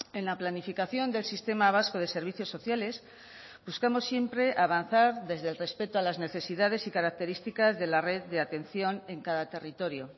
en la planificación del sistema vasco de servicios sociales buscamos siempre avanzar desde el respeto a las necesidades y características de la red de atención en cada territorio